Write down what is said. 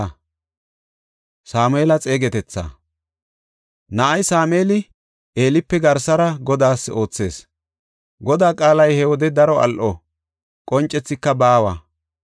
Na7ay Sameeli Eelipe garsara Godaas oothees; Godaa qaalay he wode daro al7o; qoncethika baawa.